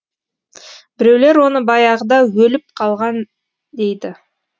біреулер оны баяғыда өліп қалған дейді